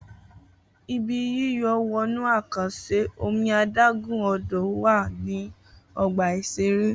Ibi yíyọ̀ wọnú àkànṣe omi adágún-Odò wà ní ọgbà-ìṣeré